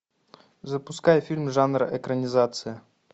запускай фильм жанра экранизация